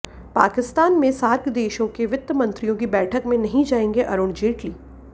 पाकिस्तान में सार्क देशों के वित्त मंत्रियों की बैठक में नहीं जाएंगे अरुण जेटली